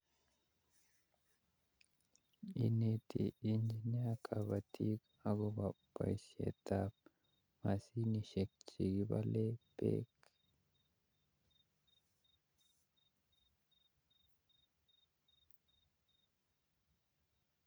Ineti engiineer kabatik akobo boisietab masiniek chekipane beek